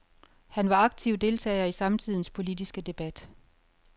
Han var aktiv deltager i samtidens politiske debat.